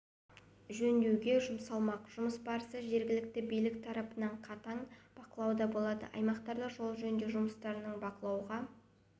жөндеуге жұмсалмақ жұмыс барысы жергілікті билік тарапынан қатаң бақылауда болады аймақта жол жөндеу жұмыстарының бақылауға